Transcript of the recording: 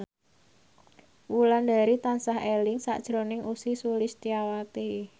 Wulandari tansah eling sakjroning Ussy Sulistyawati